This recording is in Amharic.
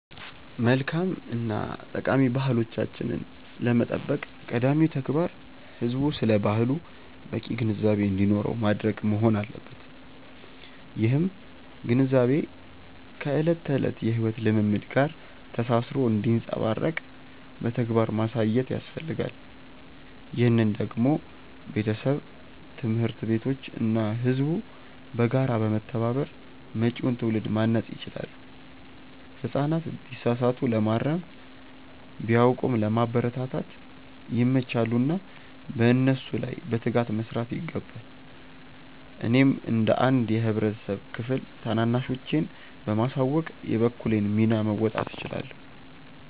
መልካም እና ጠቃሚ ባህሎቻችንን ለመጠበቅ ቀዳሚው ተግባር ህዝቡ ስለ ባህሉ በቂ ግንዛቤ እንዲኖረው ማድረግ መሆን አለበት። ይህም ግንዛቤ ከዕለት ተዕለት የሕይወት ልምምድ ጋር ተሳስሮ እንዲንጸባረቅ በተግባር ማሳየት ያስፈልጋል። ይህንን ደግሞ ቤተሰብ፣ ትምህርት ቤቶች እና ህዝቡ በጋራ በመተባበር መጪውን ትውልድ ማነጽ ይችላሉ። ህጻናት ቢሳሳቱ ለማረም፣ ቢያውቁም ለማበረታታት ይመቻሉና በእነሱ ላይ በትጋት መስራት ይገባል። እኔም እንደ አንድ የህብረተሰብ ክፍል ታናናሾቼን በማሳወቅ የበኩሌን ሚና መወጣት እችላለሁ።